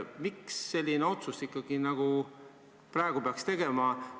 Miks peaks sellise otsuse praegu tegema?